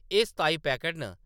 एह् सताई पैकट न ।